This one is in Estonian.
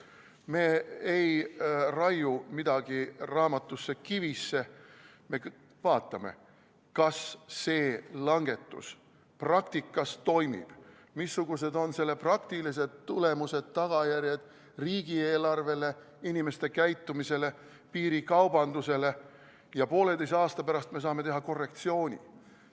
Me ei raiu midagi kivisse, me vaatame, kas see langetus praktikas toimib, missugused on selle praktilised tulemused, tagajärjed riigieelarvele, inimeste käitumisele, piirikaubandusele ja pooleteise aasta pärast me saame teha korrektsiooni.